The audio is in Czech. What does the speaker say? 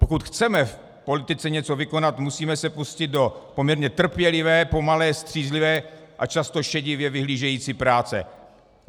Pokud chceme v politice něco vykonat, musíme se pustit do poměrně trpělivé, pomalé, střízlivé a často šedivě vyhlížející práce.